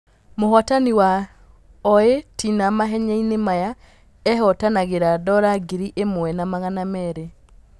Mũhotani wa o ĩ tĩ na mahenyainĩ maya ehotanagĩ ra dora ngiri ĩ mwe na magana merĩ .